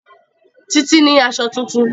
Títí ní aṣọ tuntun